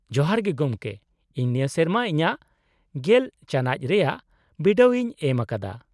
-ᱡᱚᱦᱟᱨ ᱜᱮ ᱜᱚᱢᱠᱮ, ᱤᱧ ᱱᱤᱭᱟᱹ ᱥᱮᱨᱢᱟ ᱤᱧᱟᱹᱜ ᱑᱐ ᱪᱟᱱᱟᱪ ᱨᱮᱭᱟᱜ ᱵᱤᱰᱟᱹᱣ ᱤᱧ ᱮᱢ ᱟᱠᱟᱫᱟ ᱾